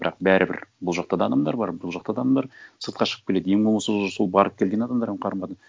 бірақ бәрібір бұл жақта да адамдар бар бұл жақта да адамдар сыртқа шығып келеді ең болмаса уже сол барып келген адамдардың қарым қатына